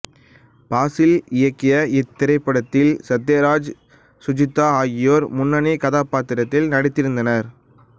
ஃபாசில் இயக்கிய இத்திரைப்படத்தில் சத்யராஜ் சுஜிதா ஆகியோர் முன்னணி கதாபாத்திரங்களில் நடித்திருந்தனர்